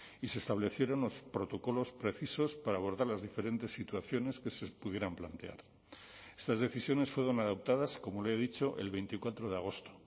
y se establecieron los protocolos precisos para abordar las diferentes situaciones que se pudieran plantear estas decisiones fueron adoptadas como le he dicho el veinticuatro de agosto